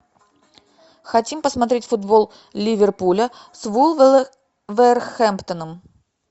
хотим посмотреть футбол ливерпуля с вулверхэмптоном